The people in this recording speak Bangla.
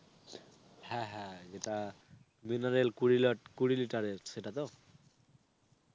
হ্যাঁ হ্যাঁ যেটা mineral কুড়ি লাট কুড়ি litre এর, সেটা তো?